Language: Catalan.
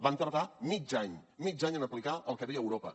van tardar mig any mig any en aplicar el que deia europa